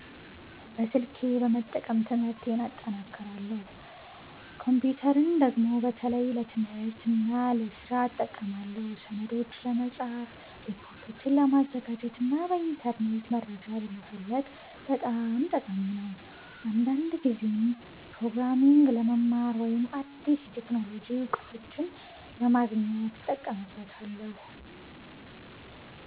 በስልኬ በመጠቀም ትምህርቴን እጠናክራለሁ። ኮምፒተርን ደግሞ በተለይ ለትምህርትና ለስራ እጠቀማለሁ። ሰነዶችን ለመጻፍ፣ ሪፖርቶችን ለማዘጋጀት እና በኢንተርኔት መረጃ ለመፈለግ በጣም ጠቃሚ ነው። አንዳንድ ጊዜም ፕሮግራሚንግ ለመማር ወይም አዲስ የቴክኖሎጂ እውቀቶችን ለማግኘት እጠቀምበታለሁ።